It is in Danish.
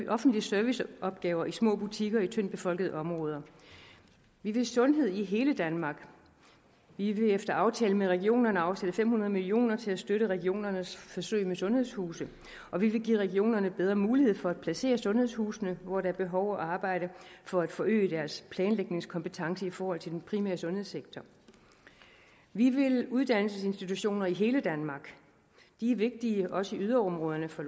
af offentlige serviceopgaver i små butikker i tyndt befolkede områder vi vil sundhed i hele danmark vi vil efter aftale med regionerne afsætte fem hundrede million kroner til at støtte regionernes forsøg med sundhedshuse og vi vil give regionerne bedre mulighed for at placere sundhedshusene hvor der er behov og arbejde for at forøge deres planlægningskompetence i forhold til den primære sundhedssektor vi vil uddannelsesinstitutioner i hele danmark de er vigtige også i yderområderne for